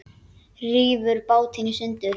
Rífur bátinn í sundur.